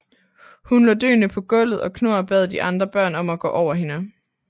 Hun lå døende på gulvet og Knorr bad de andre børn om at gå over hende